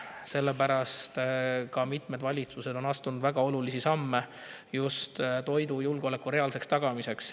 Sellepärast on ka mitmed valitsused astunud väga olulisi samme just toidujulgeoleku reaalseks tagamiseks.